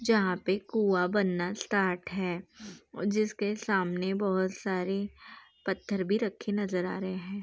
जहाँ पे कुआँ बनना स्टार्ट है जिसके सामने बहुत सारे पत्थर भी रखे नज़र आ रहें हैं।